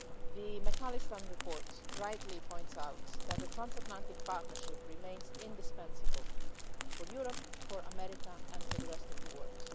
The McAllister report rightly points out that the transatlantic partnership remains indispensable for Europe, for America and for the rest of the world.